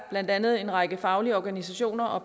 blandt andet en række faglige organisationer og